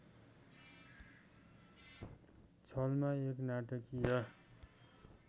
छलमा एक नाटकीय